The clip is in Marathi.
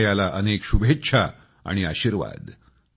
हनायाला अनेक शुभेच्छा आणि आशीर्वाद